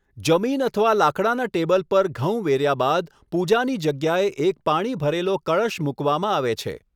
જમીન અથવા લાકડાના ટેબલ પર ઘઉં વેર્યા બાદ, પૂજાની જગ્યાએ એક પાણી ભરેલો કળશ મૂકવામાં આવે છે.